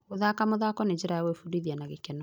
Gũthaka mũthako nĩ njĩra ya gwĩbundithia na gĩkeno.